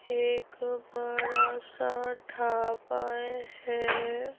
एक बड़ा सा ठापा है।